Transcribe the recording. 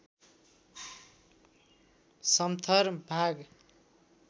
समथर भाग